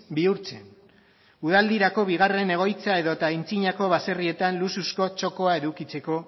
bihurtzen udaldirako bigarren egoitza edota antzinako baserrietan luxuzko txokoa edukitzeko